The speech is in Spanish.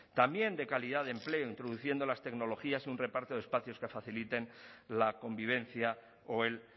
también de calidad de empleo introduciendo las tecnologías y un reparto de espacios que faciliten la convivencia o el